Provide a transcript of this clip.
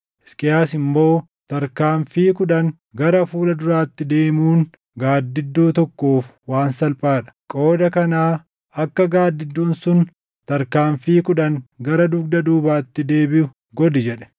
Hisqiyaas immoo, “Tarkaanfii kudhan gara fuula duraatti deemuun gaaddidduu tokkoof waan salphaa dha; qooda kanaa akka gaaddidduun sun tarkaanfii kudhan gara dugda duubaatti deebiʼu godhi” jedhe.